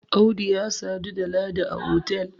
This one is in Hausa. Audu ya sadu da Ladi a otal